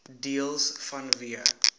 deels vanweë